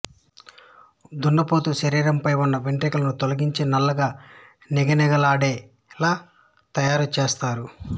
దున్నపోతు శరీరంపై ఉన్న వెంట్రుకలను తొలగించి నల్లగా నిగనిగలాడేలా తయారు చేస్తారు